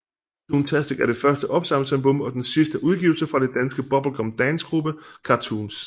Toontastic er det første opsamlingsalbum og den sidste udgivelse fra den danske bubblegum dancegruppe Cartoons